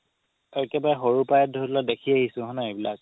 একেবাৰে সৰু পৰাই ধৰি লোৱা দেখি আহিছো হয় নাই নহয় এইবিলাক